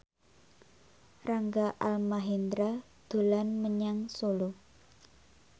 Rangga Almahendra dolan menyang Solo